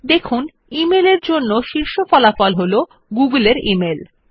দেখুন শীর্ষ ফলাফল g মেল এর জন্য গুগল এর ইমেইল